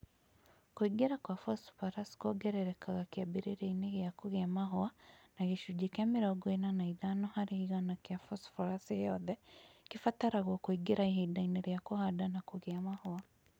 Kũingĩra kwa phosphorus kuongererekaga kĩambĩrĩriainĩ gĩa kũgĩa mahũa, na gĩcunjĩ kĩa mĩrongo ĩna na ithano harĩ igana kĩa phosphorus ĩyothe kĩbataragwo kuingĩra ihindainĩ ria kũhanda na kũgĩa mahũa